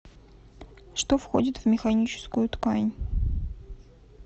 что входит в механическую ткань